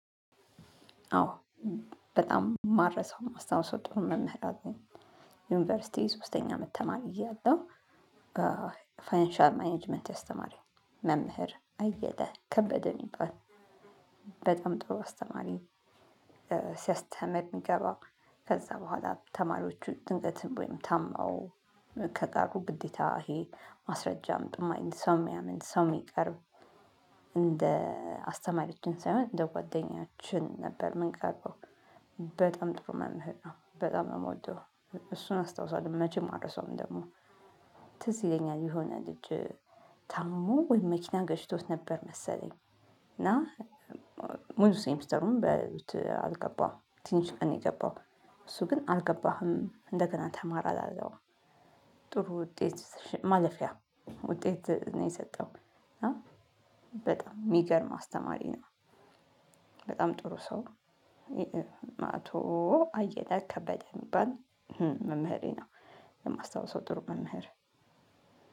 አዎ በጣም ማረሳው ማስታወስ ምወደው መምህራችን ዩኒቨርሲቲ ሶስተኛ አመት ተማሪ እያለሁ ፋይናንሻል ማኔጅመንት ያስተማረኝ መምህር አየለ ከበደ የሚባል በጣም ጥሩ አስተማሪ ሲያስተምር የሚገባው ከዛ በኋላ ተማሪዎቹ ድንገትን ወይም ታማው ከቀሩ ግዴታ ይሄ ማስረጃ አምጡ የማይል ሰው የምያምን ሰው የሚቀርብ እንደ አስተማሪዎችን ሳይሆን እንደ ጓደኛችን ነበር ምን ቀርበው በጣም ጥሩ መምህር ነው በጣም የምወደው እሱን አስታውሳለሁ መቼም አልረሳውም ደግሞ ትዝ ይለኛል የሆነ ልጅ ታሞ ወይ መኪና ገጭቶት ነበር መሰለኝ እና ሙሉ ሴሚስተሩን በሉት አልገባም ትንሽ ቀን የገባው እሱ ግን አልገባህም እንደገና ተማር አላለውም። ጥሩ ውጤት ማለፊያ ውጤት ነው የሰጠው። በጣም የሚገርም አስተማሪ ነው። በጣም ጥሩ ሰው ነው አቶ አየለ ከበደ የሚባል መምህሬ ነው የማስታውሰው ጥሩ መናገር